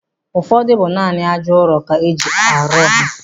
Ụfọdụ bụ naanị ájá ụrọ ka e ji rụọ ha.